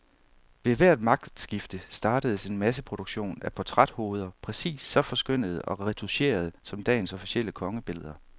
Ved hvert magtskifte startedes en masseproduktion af portræthoveder, præcis så forskønnede og retoucherede som dagens officielle kongebilleder.